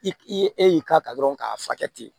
I k i ye e y'i k'a kan dɔrɔn k'a furakɛ ten